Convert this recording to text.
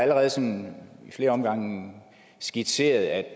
allerede i flere omgange skitseret at